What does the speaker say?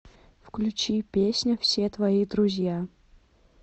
включи песня все твои друзья